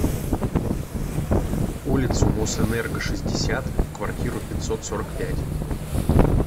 улицу мосэнерго шестьдесят в квартиру пятьсот сорок пять